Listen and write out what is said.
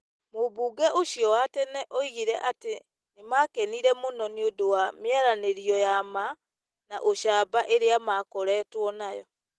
Mũmbunge ũcio wa tene oigire atĩ nĩ maakenire mũno nĩ ũndũ wa mĩaranĩrio ya ma na ũcamba ĩrĩa makorĩtũo nayo.